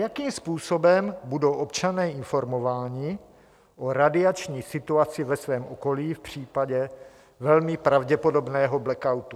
Jakým způsobem budou občané informováni o radiační situaci ve svém okolí v případě velmi pravděpodobného blackoutu?